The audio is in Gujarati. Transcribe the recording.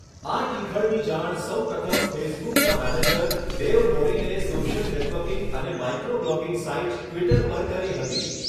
આ ટીખળની જાણ સૌ પ્રથમ ફેસબુકના મેનેજર ડેવ મોરિને સોશિયલ નેટવર્કિંગ અને માઇક્રો બ્લોગિંગ સાઇટ ટ્વિટર પર કરી હતી.